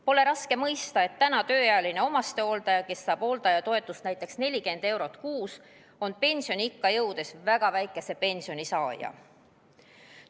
Pole raske mõista, et praegu tööealine omastehooldaja, kes saab hooldajatoetust näiteks 40 eurot kuus, on pensioniikka jõudes väga väikese pensioni saaja.